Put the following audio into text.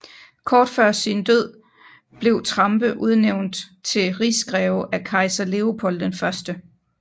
Kort før sin død blev Trampe udnævnt til rigsgreve af kejser Leopold I